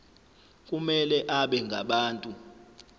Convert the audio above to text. kumele abe ngabantu